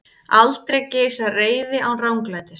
Aldrei geisar reiði án ranglætis.